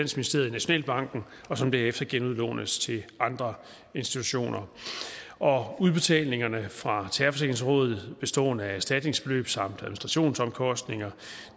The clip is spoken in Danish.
nationalbanken og som derefter genudlånes til andre institutioner udbetalingerne fra terrorforsikringsrådet bestående af erstatningsbeløb samt administrationsomkostninger